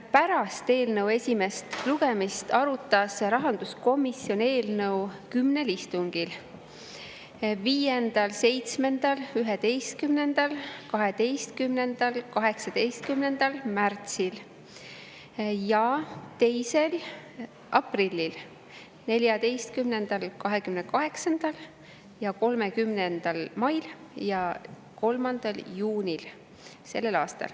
Pärast eelnõu esimest lugemist arutas rahanduskomisjon eelnõu kümnel istungil: 5., 7., 11., 12. ja 18. märtsil, 2. aprillil, 14., 28. ja 30. mail ja 3. juunil.